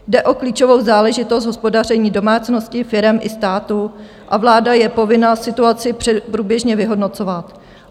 Jde o klíčovou záležitost hospodaření domácností, firem i státu a vláda je povinna situaci průběžně vyhodnocovat.